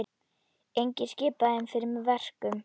Enginn skipar þeim fyrir verkum.